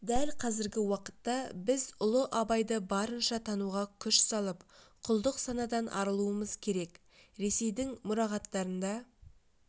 дәл қазіргі уақытта біз ұлы абайды барынша тануға күш салып құлдық санадан арылуымыз керек ресейдің мұрағаттарында